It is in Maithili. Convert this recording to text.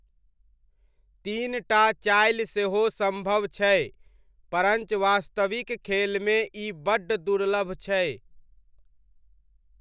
तीन टा चालि सेहो सम्भव छै परञ्च वास्तविक खेलमे ई बड्ड दुर्लभ छै।